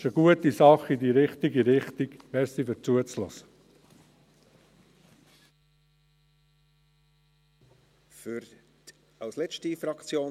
Daher: Geben Sie sich einen Ruck, das ist eine gute Sache in die richtige Richtung.